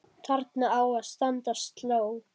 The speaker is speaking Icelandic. Þarna á að standa sló.